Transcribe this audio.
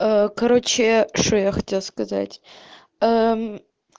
короче что я хотела сказать